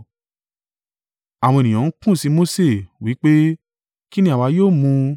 Àwọn ènìyàn ń kùn sí Mose wí pé, “Kí ni àwa yóò mu?”